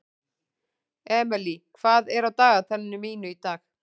Emely, hvað er á dagatalinu mínu í dag?